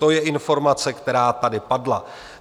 To je informace, která tady padla.